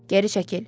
Geri çəkil.